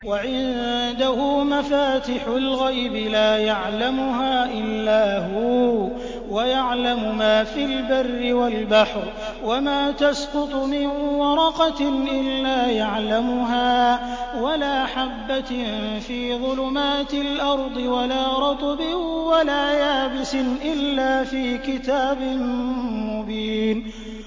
۞ وَعِندَهُ مَفَاتِحُ الْغَيْبِ لَا يَعْلَمُهَا إِلَّا هُوَ ۚ وَيَعْلَمُ مَا فِي الْبَرِّ وَالْبَحْرِ ۚ وَمَا تَسْقُطُ مِن وَرَقَةٍ إِلَّا يَعْلَمُهَا وَلَا حَبَّةٍ فِي ظُلُمَاتِ الْأَرْضِ وَلَا رَطْبٍ وَلَا يَابِسٍ إِلَّا فِي كِتَابٍ مُّبِينٍ